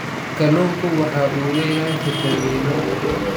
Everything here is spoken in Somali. Kalluunku waxa uu leeyahay fiitamiino.